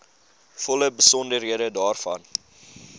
volle besonderhede daarvan